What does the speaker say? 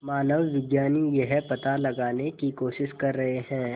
मानवविज्ञानी यह पता लगाने की कोशिश कर रहे हैं